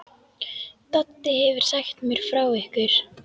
Doddi hefur sagt mér frá ykkur.